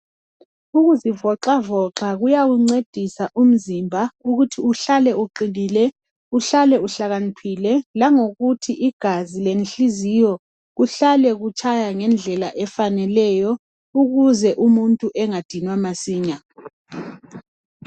Ukuzivoxavoxa kuyawuncedisa umzimba ukuthi uhlale uqinile, uhlale uhlakaniphile, langokuthi igazi lenhliziyo kuhlale kutshaya ngendlela efaneleyo ukuze umuntu engadinwa masinya.